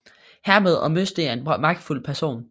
Hermed var Møsting en magtfuld person